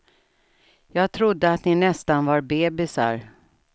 Jag trodde att ni nästan var bebisar.